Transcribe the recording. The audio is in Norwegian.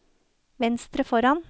venstre foran